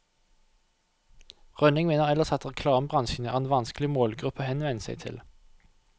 Rønning mener ellers at reklamebransjen er en vanskelig målgruppe å henvende seg til.